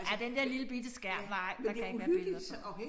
Ej den der lillebitte skærm nej der kan ikke være billeder på